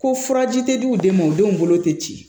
Ko furaji tɛ di u den ma u denw bolo tɛ ci